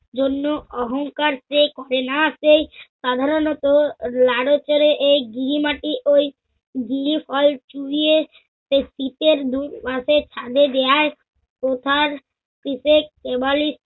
জন্য অহংকার যে করেনা সেই সাধারণত লাড়চড়ে এই গৃহী মাটি ওই গৃহী ফল চুইয়ে সে শিতের বু~ রাতে ছাদে দেয়ায়, ওথার পিছে কেবালিশ